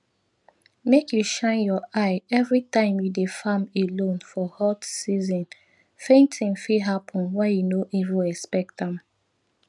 make you shine your eye every time you dey farm alone for hot seasonfainting fit happen when you no even expect am